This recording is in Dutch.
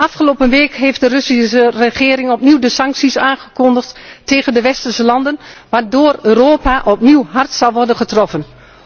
Afgelopen week heeft de Russische regering opnieuw sancties aangekondigd tegen de westerse landen, waardoor Europa opnieuw hard zal worden getroffen.